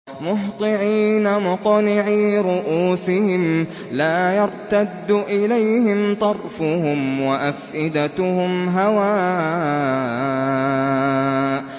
مُهْطِعِينَ مُقْنِعِي رُءُوسِهِمْ لَا يَرْتَدُّ إِلَيْهِمْ طَرْفُهُمْ ۖ وَأَفْئِدَتُهُمْ هَوَاءٌ